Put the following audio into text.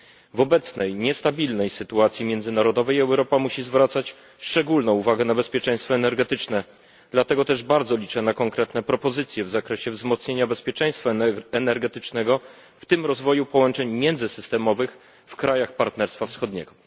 W obecnej, niestabilnej sytuacji międzynarodowej Europa musi zwracać szczególną uwagę na bezpieczeństwo energetyczne, dlatego też bardzo liczę na konkretne propozycje w zakresie wzmocnienia bezpieczeństwa energetycznego, w tym rozwoju połączeń międzysystemowych w krajach Partnerstwa Wschodniego.